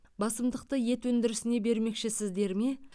басымдықты ет өндірісіне бермекшісіздер ме